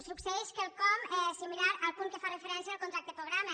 succeeix quelcom similar al punt que fa referència al contracte programa